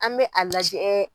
An bɛ a lajɛ.